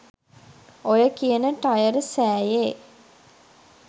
ඔය කියන ටයර් සෑයේ